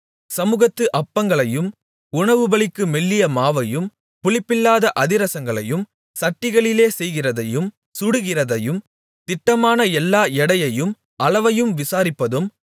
சமுகத்து அப்பங்களையும் உணவுபலிக்கு மெல்லிய மாவையும் புளிப்பில்லாத அதிரசங்களையும் சட்டிகளிலே செய்கிறதையும் சுடுகிறதையும் திட்டமான எல்லா எடையையும் அளவையும் விசாரிப்பதும்